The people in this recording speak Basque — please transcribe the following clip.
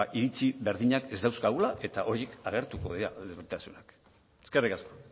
iritzi berdinak ez dauzkagula eta horiek agertuko dira eskerrik asko